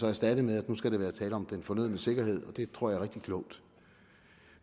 erstattet med at der skal være tale om den fornødne sikkerhed og det tror jeg er rigtig klogt